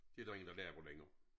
Det der ingen der laver længere